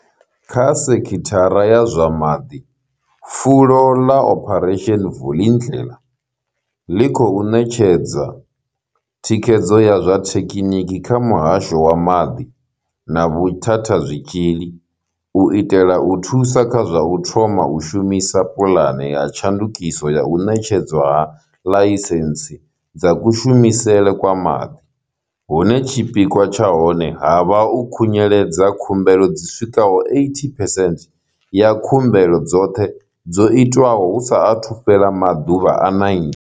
Kha sekhithara ya zwa maḓi, fulo ḽa Operation Vulindlela ḽi khou ṋetshedza thikhedzo ya zwa thekheniki kha muhasho wa maḓi na vhuthathazwitzhili u itela u thusa kha zwa u thoma u shumisa puḽane ya tshandukiso ya u ṋetshedzwa ha ḽaisentsi dza kushumisele kwa maḓi, hune tshipikwa tsha hone ha vha u khunyeledza khumbelo dzi swikaho 80 phesenthe ya khumbelo dzoṱhe dzo itwaho hu sa athu fhela maḓuvha a 90.